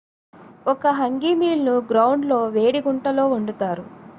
ఒక hangi meal ను ground లో వేడి గుంటలో వండుతారు